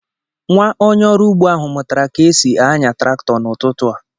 Nwa onye ọrụ ugbo ahu mụtara ka e si ányà traktọ n’ụtụtụ a